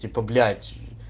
типа блять